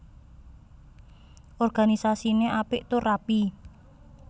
Organisasiné apik tur rapi